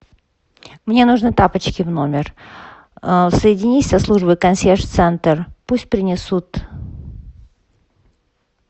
мне нужны тапочки в номер соединись со службой консьерж центр пусть принесут